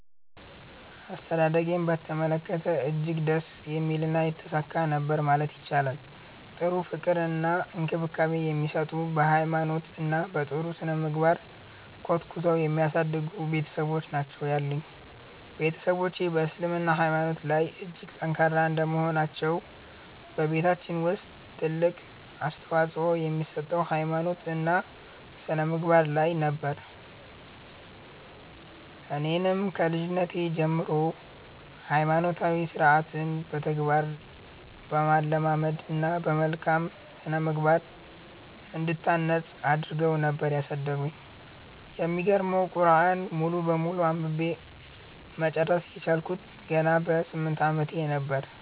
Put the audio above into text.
አስተዳደጌን በተመለከተ እጅግ ደስ የሚልና የተሳካ ነበር ማለት ይቻላል። ጥሩ ፍቅር እና እንክብካቤ የሚሰጡ፤ በ ሃይማኖት እና በ ጥሩ ስነምግባር ኮትኩተው የሚያሳድጉ ቤትሰቦች ናቸው ያሉኝ። ቤትሰቦቼ በ እስልምና ሃይማኖታቸው ላይ እጅግ ጠንካራ እንደመሆናቸው በቤታችን ውስጥ ትልቅ አፅንኦት የሚሰጠው ሃይማኖት እና ስነምግባር ላይ ነበር። እኔንም ከልጅነቴ ጀምሮ ሃይማኖታዊ ስርዓትን በተግባር በማለማመድ እና በመልካም ስነምግባር እንድታነፅ አድረገው ነበር ያሳደጉኝ። የሚገርመው ቁርዐንን ሙሉ በሙሉ አንብቤ መጨረስ የቻልኩት ገና በ 8 አመቴ ነበር።